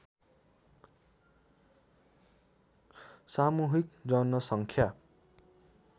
सामूहिक जनसङ्ख्या